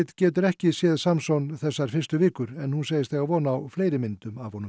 getur ekki séð Samson þessar fyrstu vikur en hún segist eiga von á fleiri myndum af honum